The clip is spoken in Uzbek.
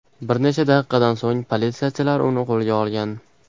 Bir necha daqiqadan so‘ng politsiyachilar uni qo‘lga olgan.